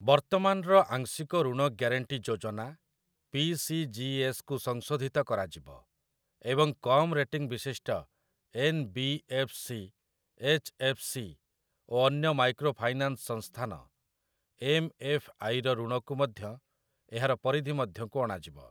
ବର୍ତ୍ତମାନର ଆଂଶିକ ଋଣ ଗ୍ୟାରେଣ୍ଟି ଯୋଜନା 'ପି. ସି. ଜି. ଏସ୍.'କୁ ସଂଶୋଧିତ କରାଯିବ, ଏବଂ କମ୍‌ ରେଟିଂ ବିଶିଷ୍ଟ 'N. B. F. C.', 'H. F. C.' ଓ ଅନ୍ୟ ମାଇକ୍ରୋ ଫାଇନାନ୍ସ ସଂସ୍ଥାନ 'ଏମ୍. ଏଫ୍. ଆଇ.'ର ଋଣକୁ ମଧ୍ୟ ଏହାର ପରିଧି ମଧ୍ୟକୁ ଅଣାଯିବ ।